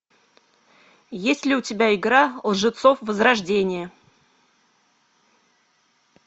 есть ли у тебя игра лжецов возрождение